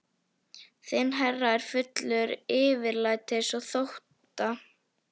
Þinn herra er fullur yfirlætis og þótta.